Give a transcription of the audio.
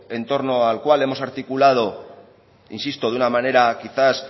entorno al cual hemos articulado insisto de una manera quizá